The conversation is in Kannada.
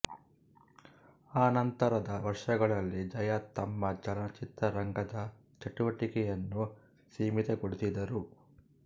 ಆನಂತರದ ವರ್ಷಗಳಲ್ಲಿ ಜಯಾ ತಮ್ಮ ಚಲನಚಿತ್ರ ರಂಗದ ಚಟುವಟಿಕೆಯನ್ನು ಸೀಮಿತಗೊಳಿಸಿದರು